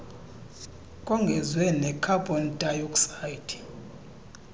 kongezwe nekhabhon dayoksayidi